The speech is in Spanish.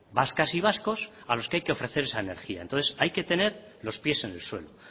vascas y vascos a los que hay que ofrecer esa energía entonces hay que tener los pies en el suelo